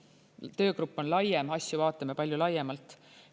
Töögrupp on laiem, asju vaatame palju laiemalt.